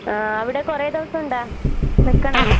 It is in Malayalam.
ആഹ് അവടെ കൊറേ ദെവസൊണ്ടാ? നിക്കണാ?